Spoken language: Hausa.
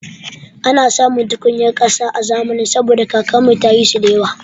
Ana samun tukunyar ƙasa a zamanin saboda kakar mu ta yi su da yawa